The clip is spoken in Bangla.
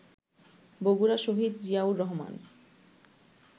বগুড়া শহীদ জিয়াউর রহমান